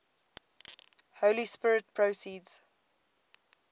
holy spirit proceeds